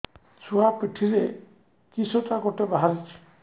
ଛୁଆ ପିଠିରେ କିଶଟା ଗୋଟେ ବାହାରିଛି